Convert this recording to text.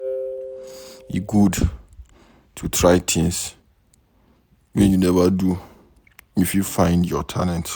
E good to try things wey you neva do before, you fit find your talent.